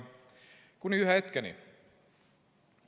Kuni ühe hetkeni.